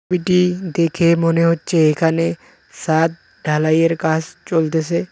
ছবিটি দেখে মনে হচ্ছে এখানে সাদ ঢালাইয়ের কাজ চলতেসে।